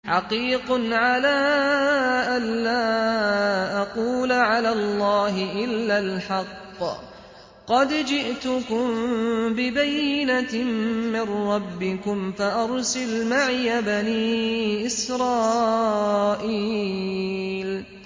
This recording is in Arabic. حَقِيقٌ عَلَىٰ أَن لَّا أَقُولَ عَلَى اللَّهِ إِلَّا الْحَقَّ ۚ قَدْ جِئْتُكُم بِبَيِّنَةٍ مِّن رَّبِّكُمْ فَأَرْسِلْ مَعِيَ بَنِي إِسْرَائِيلَ